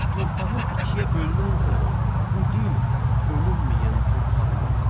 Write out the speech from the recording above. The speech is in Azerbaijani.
Torpağım ikiyə bölünən zaman bu dil bölünməyən torpağım oldu.